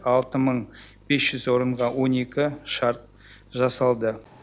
алты мың бес жүз орынға он екі шарт жасалды